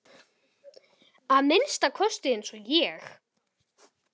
Að minnsta kosti ekki eins og ég.